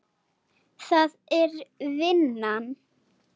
Það er vinnan.